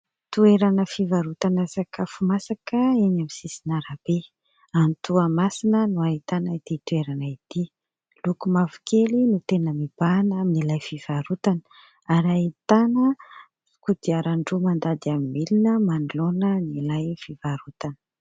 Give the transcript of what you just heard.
Toerana fivarotana sakafo masaka eny amin'ny sisin'arabe, any Toamasina no ahitana ity toerana ity, loko mavokely no tena mibahana amin'ilay fivarotana ary ahitana kodiaran-droa mandady amin'ny milina manoloana an'ilay fivarotana.